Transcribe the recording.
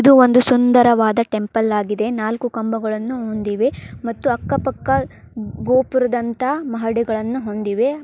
ಇದು ಒಂದು ಸುಂದರವಾಗ ಟೆಂಪಲ್ ಆಗಿದೆ ನಾಲ್ಕು ಕಂಬಗಳನ್ನು ಹೊಂದಿವೆ ಮತ್ತು ಅಕ್ಕ ಪಕ್ಕ ಗೋಪುರದಂತ ಮಹಡಿಗಳನ್ನು ಹೊಂದಿವೆ.